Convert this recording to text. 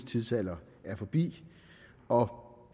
tidsalder er forbi og